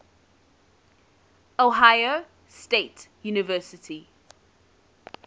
ohio state university